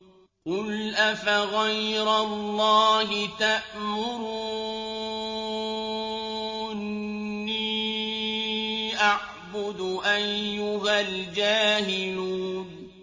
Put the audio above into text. قُلْ أَفَغَيْرَ اللَّهِ تَأْمُرُونِّي أَعْبُدُ أَيُّهَا الْجَاهِلُونَ